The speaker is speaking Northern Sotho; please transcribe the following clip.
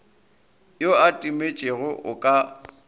yo a timetšego o ka